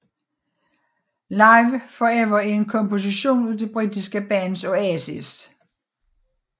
Live Forever er en komposition af det britiske band Oasis